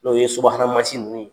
N'o ye mansin ninnu ye.